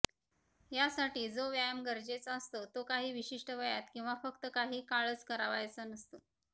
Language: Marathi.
त्यासाठी जो व्यायाम गरजेचा असतो तो काही विशिष्ट वयात किंवा फक्त काही काळच करायचा नसतो